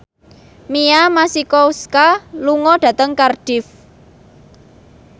Mia Masikowska lunga dhateng Cardiff